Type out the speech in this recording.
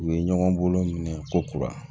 U ye ɲɔgɔn bolo minɛ ko kura